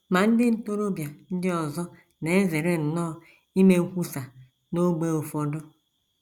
Ma ndị ntorobịa ndị ọzọ na - ezere nnọọ ime nkwusa n’ógbè ụfọdụ.